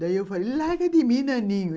Daí eu falei, larga de mim, naninho.